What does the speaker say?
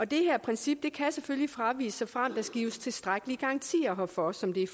det her princip kan selvfølgelig fraviges såfremt der gives tilstrækkelige garantier herfor som det